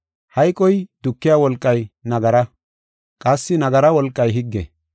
Hayqoy dukiya wolqay nagara; qassi nagara wolqay higge.